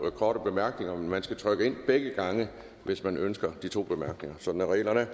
to korte bemærkninger men man skal trykke sig ind begge gange hvis man ønsker de to bemærkninger sådan er reglerne